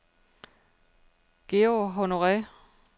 Georg Honore